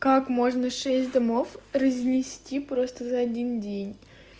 как можно шесть домов разнести просто за один день